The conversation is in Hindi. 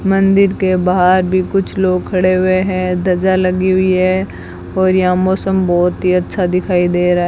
मंदिर के बाहर भी कुछ लोग खड़े हुए है ध्वजा लगी हुई है और यहां मौसम बहोत ही अच्छा दिखाई दे रहा है।